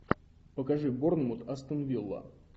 покажи борнмут астон вилла